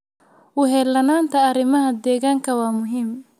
U heellanaanta arrimaha deegaanka waa muhiim.